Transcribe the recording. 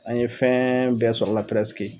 An ye fɛn bɛɛ sɔrɔ a la